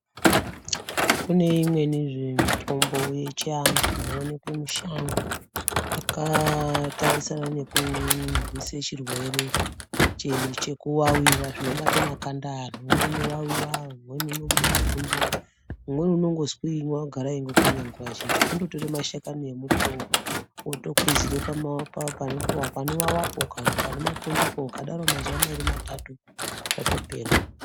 Kune imweni zve mitombo yechi antu ino onekwe mishango yaka tarisane neku raise chirwere cheku wawiwa zvino bate makanda evanhu umweni uno vawiwa umweni uno bude mapundu umweni unongo swinywa agara eingo kwenya nguva zhinji kundo tore mashakani embuti woo oto kwizire pa maoko pano vavapo kana pane mapundu ukadaro mazuva mairi matatu zvato pera.